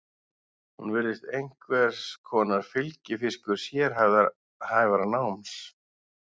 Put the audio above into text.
Hún virðist einhvers konar fylgifiskur sérhæfðara náms.